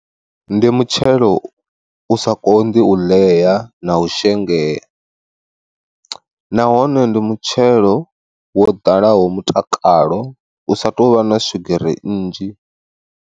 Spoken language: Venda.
Ndi mutshelo u sa konḓi u ḽea na u shengea, nahone ndi mutshelo wo ḓalaho mutakalo usa tovha na swigiri nnzhi.